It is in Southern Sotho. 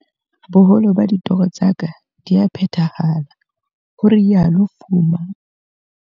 "Boholo ba ditoro tsa ka di a phethahala," ho rialo Fuma.